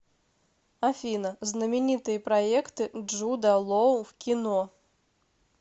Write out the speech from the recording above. афина знаменитые проекты джуда лоу в кино